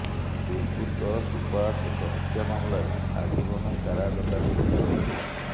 ଦୁର୍ବୃତ୍ତ ସୁବାଷ ଏକ ହତ୍ୟା ମାମଲାରେ ଆଜୀବନ କାରାଦଣ୍ଡାଦେଶ ରହିଥିଲା